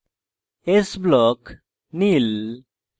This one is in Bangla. s block – Neil